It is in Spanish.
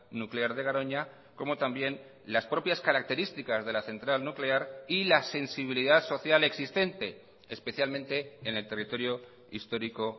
nuclear de garoña como también las propias características de la central nuclear y la sensibilidad social existente especialmente en el territorio histórico